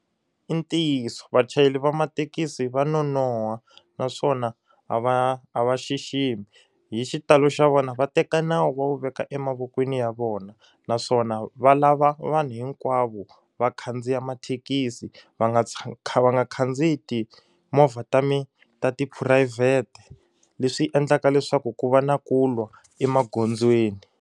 I ntiyiso vachayeri va mathekisi va nonoha naswona a va a va xiximi hi xitalo xa vona va teka nawu va wu veka emavokweni ya vona naswona va lava vanhu hinkwavo va khandziya mathekisi va nga va nga khandziya timovha ta mi ta tiphurayivhete leswi endlaka leswaku ku va na ku lwa emagondzweni.